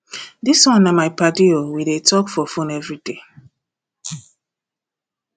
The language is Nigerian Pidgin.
dis one na my paddy o we dey talk for fone everyday